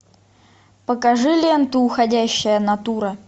покажи ленту уходящая натура